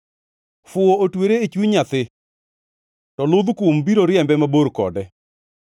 Fuwo otwere e chuny nyathi, to ludh kum biro riembe mabor kode.